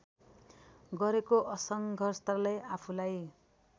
गरेको सङ्घर्षले आफूलाई